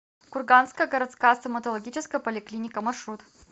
курганская городская стоматологическая поликлиника маршрут